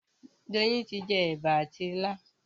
Doyin tí jé eba àti ila